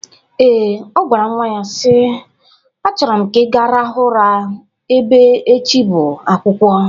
Ee, o gwara nwa ya si: Achọrọ m ka ị ga-rahụ ụra ebe echi bụ akwụkwọ